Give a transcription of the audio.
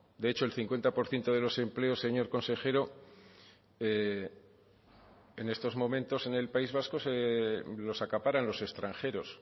de hecho el cincuenta por ciento de los empleos señor consejero en estos momentos en el país vasco los acaparan los extranjeros